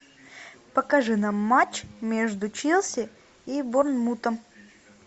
покажи нам матч между челси и борнмутом